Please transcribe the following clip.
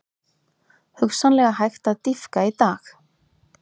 Hugsanlega hægt að dýpka í dag